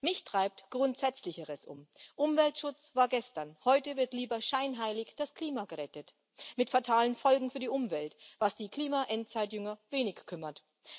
Mich treibt Grundsätzlicheres um Umweltschutz war gestern, heute wird lieber scheinheilig das Klima gerettet mit fatalen Folgen für die Umwelt, was die Klimaendzeitjünger wenig kümmert.